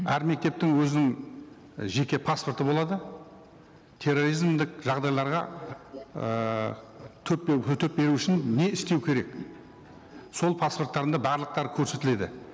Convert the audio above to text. әр мектептің өзінің жеке паспорты болады терроризмдік жағдайларға ыыы үшін не істеу керек сол паспорттарында барлықтары көрсетіледі